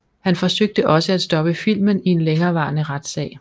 Han forsøgte også at stoppe filmen i en længerevarende retsag